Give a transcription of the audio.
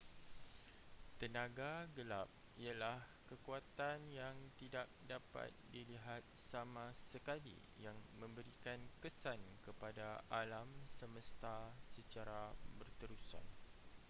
tenaga gelap ialah kekuatan yang tidak dapat dilihat sama sekali yang memberikan kesan kepada alam semesta secara berterusan